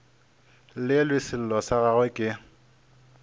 llelwe sello sa gagwe ke